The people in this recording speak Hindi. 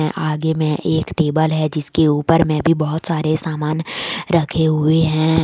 आगे मे एक टेबल है जिसके ऊपर में भी बहुत सारे सामान रखे हुए हैं।